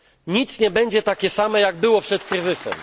Nic nie będzie takie samo jak przed kryzysem.